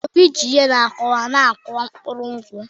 Obi ji ihe nkúwa na akuwa mkpuru nkwụ.